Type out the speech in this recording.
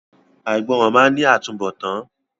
Àìgbọràn máa ní àtúnbọ̀tán.